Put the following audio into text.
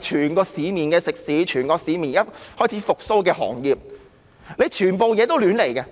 全部市面食肆、開始復蘇的行業都覺得擾民。